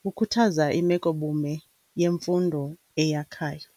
kukhuthaza imekobume yemfundo eyakhayo.